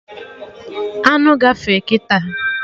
Aṅụ gafee kịta